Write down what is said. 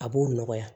A b'o nɔgɔya